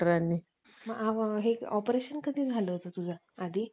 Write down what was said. की दुसऱ्या दिवशी जेव्हा हो~ होलिका असते, तिची जी राख असते, ती